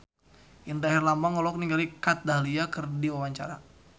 Indra Herlambang olohok ningali Kat Dahlia keur diwawancara